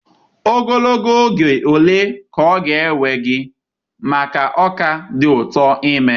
Ogologo oge ole ka ọ na-ewe gị maka ọka dị ụtọ ime?